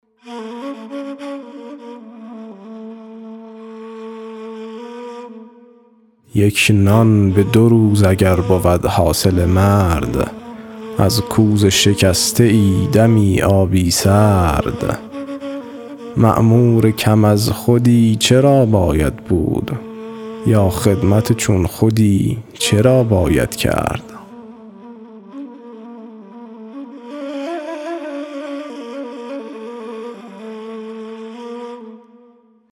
یک نان به دو روز اگر بود حاصل مرد از کوزه شکسته ای دمی آبی سرد مأمور کم از خودی چرا باید بود یا خدمت چون خودی چرا باید کرد